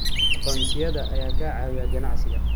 Aqoonsiyada ayaa ka caawiya ganacsiga.